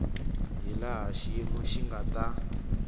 hilaha xiyimo xi nga ta